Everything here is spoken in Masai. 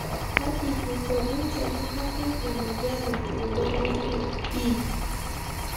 Kaji eikoni tenebaki emoyian e hemoglobin E?